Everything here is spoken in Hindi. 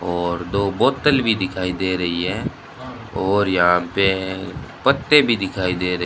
और दो बोतल भी दिखाई दे रही है और यहां पे पत्ते भी दिखाई दे रहे --